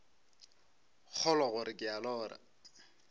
kgolwa gore ke a lora